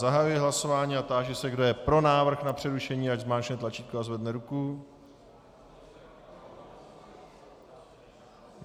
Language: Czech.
Zahajuji hlasování a táži se, kdo je pro návrh na přerušení, ať zmáčkne tlačítko a zvedne ruku.